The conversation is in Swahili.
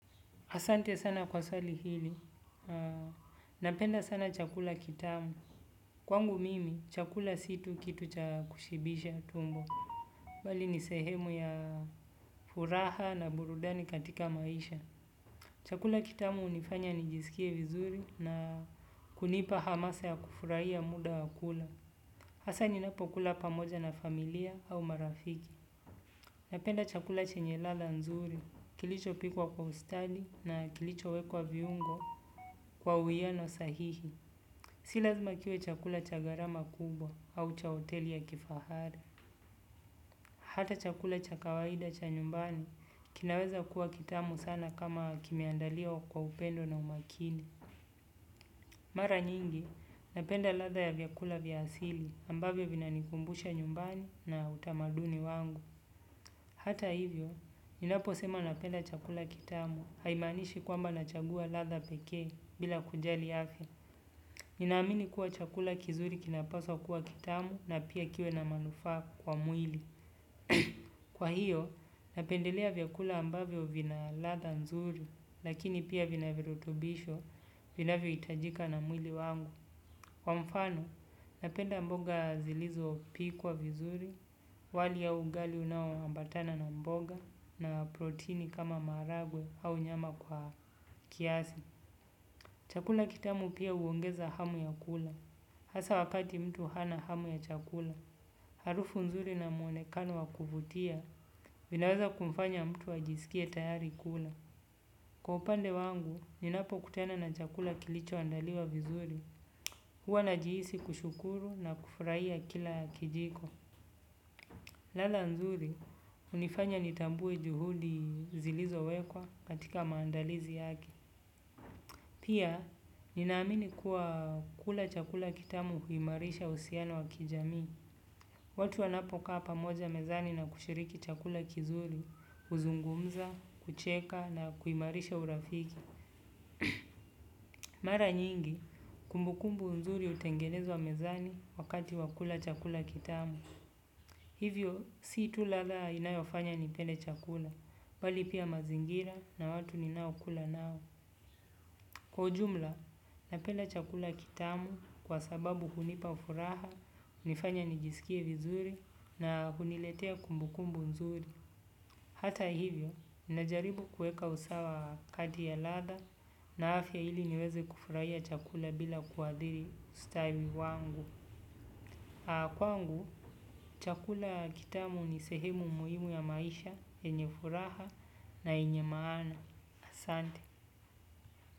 Asante sana kwa sali hili. Napenda sana chakula kitamu. Kwangu mimi, chakula situ kitu cha kushibisha tumbo. Bali ni sehemu ya furaha na burudani katika maisha. Chakula kitamu unifanya nijisikie vizuri na kunipa hamasa ya kufuraiya muda wakula. Hasa ninapokula pamoja na familia au marafiki. Napenda chakula chenye ladha nzuri. Kilicho pikwa kwa ustadi na kilicho wekwa viungo. Kwa uiyano sahihi, si lazima kiuwe chakula cha garama kubwa au cha oteli ya kifahara. Hata chakula cha kawaida cha nyumbani kinaweza kuwa kitamu sana kama kimeandiliwa kwa upendo na umakini. Mara nyingi, napenda latha ya vyakula vyasili ambavyo vina nikumbusha nyumbani na utamaduni wangu. Hata hivyo, ninapo sema napenda chakula kitamu haimanishi kwamba nachagua latha peke bila kujali afia. Ninaamini kuwa chakula kizuri kinapaswa kuwa kitamu na pia kiwe na manufa kwa mwili. Kwa hiyo, napendelea vyakula ambavyo vinaladha nzuri, lakini pia vina virutubisho vina vio itajika na mwili wangu. Kwa mfano, napenda mboga zilizo pikuwa vizuri, wali ya ugali unao ambatana na mboga, na proteini kama maragwe au nyama kwa kiasi. Chakula kitamu pia uongeza hamu ya kula, hasa wakati mtu hana hamu ya chakula, harufu nzuri na mwonekano wakuvutia, vinaweza kumfanya mtu ajisikie tayari kula. Kwa upande wangu, ninapo kutena na chakula kilicho andaliwa vizuri, huwa najiisi kushukuru na kufraia kila kijiko. Latha nzuri, unifanya nitambue juhudi zilizo wekwa katika maandalizi yake. Pia ninaamini kuwa kula chakula kitamu uimarisha uhusiano wa kijamii. Watu wanapo kaa pamoja mezani na kushiriki chakula kizuri, uzungumza, kucheka na huimarisha urafiki. Mara nyingi, kumbukumbu nzuri utengenezwa mezani wakati wakula chakula kitamu. Hivyo, si tu latha inayofanya ni pende chakula, bali pia mazingira na watu ni nao kula nao. Kwa ujumla, na penda chakula kitamu kwa sababu hunipafuraha, nifanye nijisikie vizuri na huniletea kumbukumbu nzuri. Hata hivyo, najaribu kueka usawa kati ya latha na afya hili niweze kufurahia chakula bila kuadhiri ustawi wangu. Kwangu, chakula kitamu ni sehemu muhimu ya maisha, yenye furaha na yenye maana. Asante.